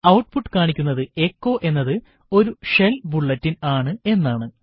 output കാണിക്കുന്നത് echo എന്നത് ഒരു ഷെൽ ബുള്ളറ്റിൻ ആണ് എന്നാണ്